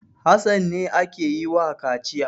Hassan ne ake yi wa kaciya.